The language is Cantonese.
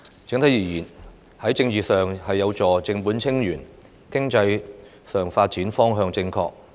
整體而言，這份施政報告在政治體制上有助正本清源、在經濟上的發展方向正確。